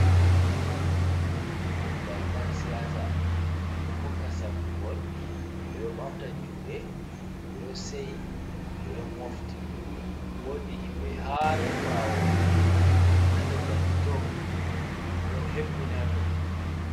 Moggal ƴan siyaasa, ɗo hokka sabbungol, ɓe ɗo ɓamta juuɗe, ɓe ɗo seyi, ɓe ɗo mofti. Woodi himɓe haar ɓaawo, haa nder danki too, ɓe ɗo hebbini haato.